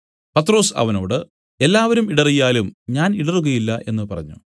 പത്രൊസ് അവനോട് എല്ലാവരും ഇടറിയാലും ഞാൻ ഇടറുകയില്ല എന്നു പറഞ്ഞു